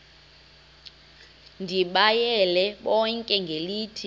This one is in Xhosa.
ndibayale bonke ngelithi